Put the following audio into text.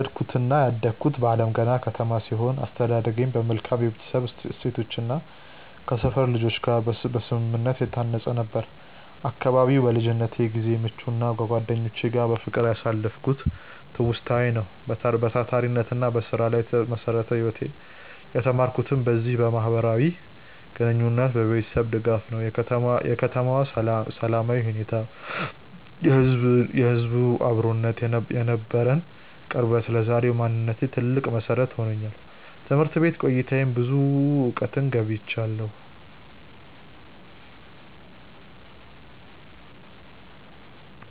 የተወለድኩትና ያደግኩት በአለምገና ከተማ ሲሆን፣ አስተዳደጌም በመልካም የቤተሰብ እሴቶችና ከሰፈር ልጆች ጋር በስምምነት የታነጸ ነበር። አካባቢው ለልጅነት ጊዜዬ ምቹና ከጓደኞቼ ጋር በፍቅር ያሳለፍኩበት ትውስታዬ ነው። በታታሪነትና በስራ ላይ የተመሰረተ ህይወትን የተማርኩትም በዚሁ ማህበራዊ ግንኙነትና በቤተሰቤ ድጋፍ ነው። የከተማዋ ሰላማዊ ሁኔታ፣ የህዝቡ አብሮነትና የነበረን ቅርበት ለዛሬው ማንነቴ ትልቅ መሰረት ሆኖኛል። በትምህርት ቤት ቆይታዬም ብዙ እውቀትን ገብይቻለሁ።